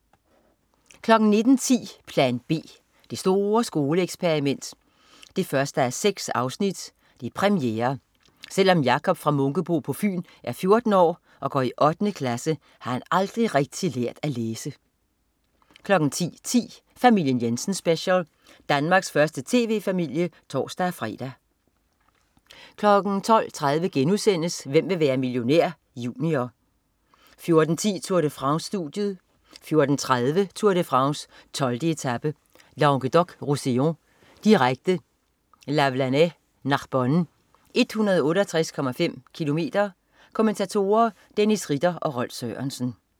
09.10 Plan B. Det store skoleeksperiment 1:6. Premiere. Selv om Jacob fra Munkebo på Fyn er 14 år og går i 8. klasse, har han aldrig rigtig lært at læse 10.10 Familien Jensen Special. Danmarks første tv-familie (tors-fre) 12.30 Hvem vil være millionær? Junior* 14.10 Tour de France. Studiet 14.30 Tour de France: 12. etape, Languedoc-Roussillon. Direkte, Lavelanet-Narbonne, 168,5 km. Kommentatorer: Dennis Ritter og Rolf Sørensen